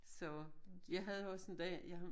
Så jeg havde også en dag jeg har